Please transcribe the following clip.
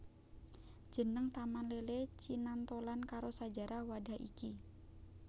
Jeneng Taman Lele cinantholan karo sajarah wadhah iki